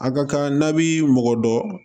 A ka kan n'a bi mɔgɔ dɔ